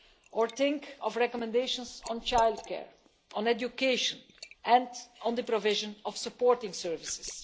or think of recommendations on childcare, on education, and on the provision of supporting services.